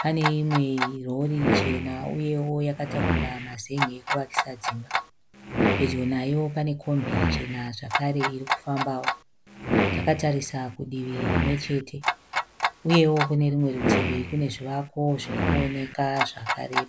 Pane imwe rori chena uyewo yakatakura mazenge ekuvakisa dzimba . Pedyo nayo pane kombi chena zvekare irikufambawo, takatarisa kudivi rimwe chete. Uyewo kune rimwe rutivi kune zvimwe zvivakwa zviri kuonekaa zvakare.